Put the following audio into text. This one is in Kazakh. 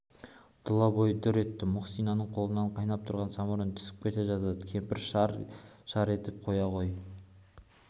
тұлабойы дүр етті мұхсинаның қолынан қайнап тұрған самауыр түсіп кете жаздады кемпір шар-шар етіп қоя ғой